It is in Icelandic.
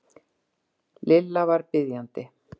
Lilla var biðjandi.